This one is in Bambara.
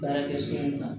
Baarakɛ so mun na